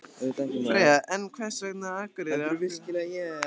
Freyja: En hvers vegna Akureyri, af hverju ekki höfuðborgin?